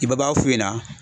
I ba b'a f'u ɲɛna